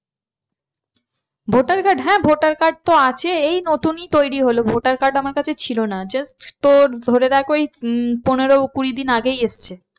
Voter card হ্যাঁ voter card তো আছে এই নতুনই তৈরি হলো voter card আমার কাছে ছিল না just তোর ধরে রাখ ওই উম পনেরো কুড়িদিন আগেই এসছে।